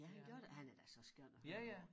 Ja han gør da han er da så skøn at høre på